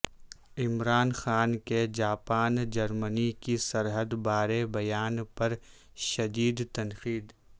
عمران خان کے جاپان جرمنی کی سرحد بارے بیان پر شدیدتنقید